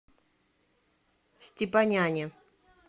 степаняне